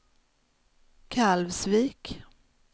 Kalvsvik